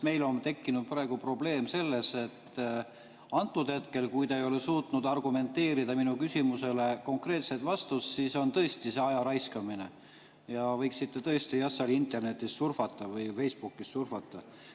Meil on tekkinud praegu probleem, et hetkel, kui te ei ole suutnud argumenteerides esitada minu küsimusele konkreetset vastust, siis on see tõesti ajaraiskamine ja te võiksite jah internetis või Facebookis surfata.